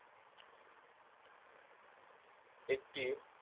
একটি